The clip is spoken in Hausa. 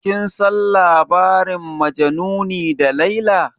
Kin san labarin majanuni da laila?